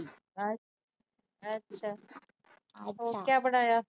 ਹੋਰ ਕਿਆ ਬਣਾਇਆ।